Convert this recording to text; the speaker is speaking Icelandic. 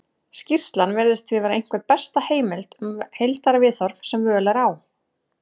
skýrslan virðist því vera einhver besta heimildin um heildarviðhorf sem völ er á